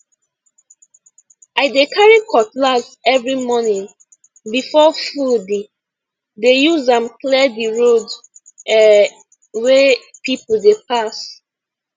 i dey carry cutlass every morning before foodi dey use am clear the road um wey people dey pass